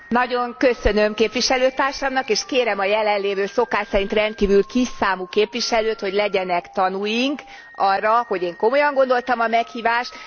Nagyon köszönöm képviselőtársamnak, és kérem a jelenlévő szokás szerint rendkívül kisszámú képviselőt, hogy legyenek tanúink arra, hogy én komolyan gondoltam a meghívást.